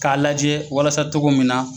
K'a lajɛ walasa togo min na